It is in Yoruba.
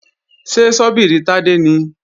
Ṣé ṣọ́bìrì Tádé nìí?